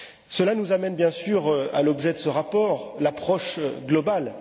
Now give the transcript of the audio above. Cela nous amène, bien sûr, à l'objet de ce rapport l'approche globale.